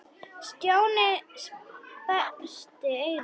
Stjáni sperrti eyrun.